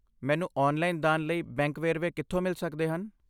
ਮੈਨੂੰ ਔਨਲਾਈਨ ਦਾਨ ਲਈ ਬੈਂਕ ਵੇਰਵੇ ਕਿੱਥੋਂ ਮਿਲ ਸਕਦੇ ਹਨ?